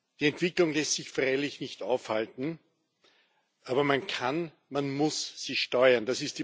Die Entwicklung lässt sich freilich nicht aufhalten, aber man kann, man muss sie steuern.